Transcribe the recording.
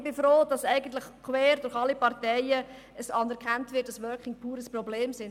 Ich bin froh, wird eigentlich quer durch alle Parteien anerkannt, dass «Working Poor» ein Problem ist.